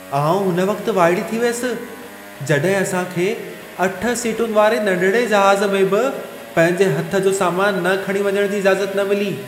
आउं हुन वक़्त वाइड़ी थी वियसि, जॾहिं असां खे 8 सीटुनि वारे नंढिड़े जहाज़ में बि पंहिंजे हथ जो सामानु न खणी वञणु जी इजाज़त न मिली।